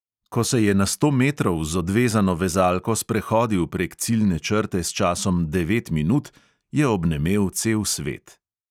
Ko se je na sto metrov z odvezano vezalko sprehodil prek ciljne črte s časom devet minut, je obnemel cel svet.